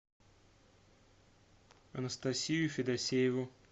анастасию федосееву